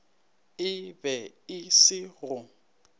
e be e se go